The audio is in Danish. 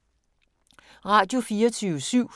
Radio24syv